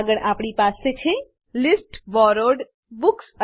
આગળ આપણી પાસે છે list borrowed books list borrowed books